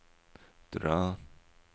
dra